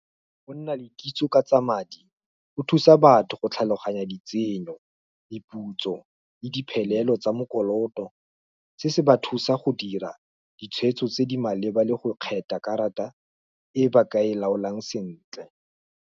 Go nna le kitso ka tsa madi, go thusa batho go tlhaloganya ditsenyo, diputso, le diphelelo tsa mo dikoloto, se se ba thusa go dira, ditshwetso tse di maleba, le go kgetha karata e ba ka e laolang sentle.